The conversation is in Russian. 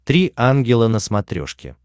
три ангела на смотрешке